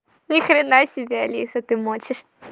ни хрена себе алиса ты мочишь